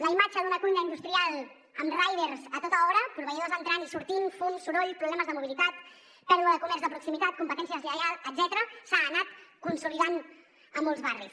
la imatge d’una cuina industrial amb riders a tota hora proveïdors entrant i sortint fum soroll problemes de mobilitat pèrdua de comerç de proximitat competència deslleial etcètera s’ha anat consolidant a molts barris